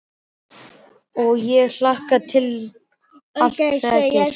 Og ég hlakka til að allt þetta gerist.